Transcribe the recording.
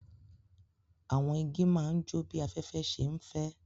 Awọn igi ma n jó bi afẹfẹ ṣe nfẹ